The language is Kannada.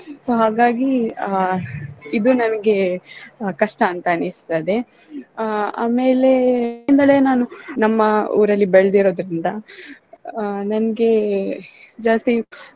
So ಹಾಗಾಗಿ ಆ ಇದು ನನಗೆ ಕಷ್ಟ ಅಂತ ಅನ್ನಸ್ತದೆ. ಆ ಆಮೇಲೆ ನಾನು ನಮ್ಮ ಊರಲ್ಲಿ ಬೆಳ್ದಿರೋದ್ರಿಂದ ಆ ನನ್ಗೆ ಜಾಸ್ತಿ.